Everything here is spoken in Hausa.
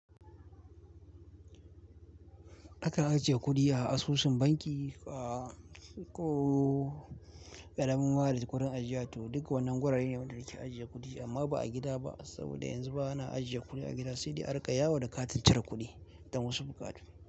Akan ajiye kuɗi a asusun banki ko ƙaramin ma'ajiyar kuɗin ajiya ta. Duk wannan wurare ne waɗanda ke ajiye kuɗi amma ba a gida ba saboda yanzu ba ana ajiye kuɗi a gida sai dai a riƙa yawo da katin cirar kuɗi don wasu buƙatu.